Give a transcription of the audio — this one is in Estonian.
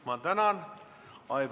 Ma tänan!